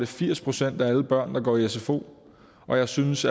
firs procent af alle børn der går i sfo og jeg synes